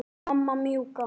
Mamma mjúka.